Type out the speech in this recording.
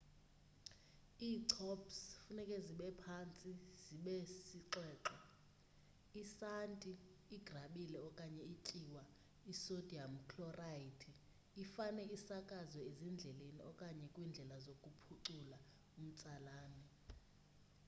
iichops funeke zibephantsi zibesixwexwe. isanti igrabile okanye ityiwa isodiyam khlorhayidi ifane isakazwe ezindleleni okanye kwindlela zokuphucula umtsalane